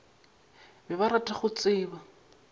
be ba rata go tseba